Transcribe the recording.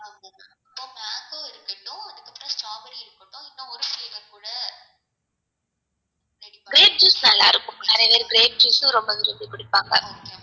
grape juice நல்லார்க்கும் நிறைய பேர் grape juice ரொம்ப விரும்பி குடிப்பாங்க